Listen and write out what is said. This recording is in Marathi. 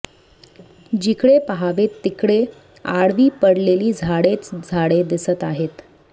जिकडे पहावे तिकडे आडवी पडलेली झाडेच झाडे दिसत आहेत